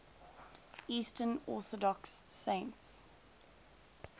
eastern orthodox saints